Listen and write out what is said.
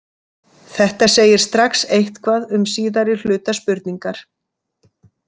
Þetta segir strax eitthvað um síðari hluta spurningar.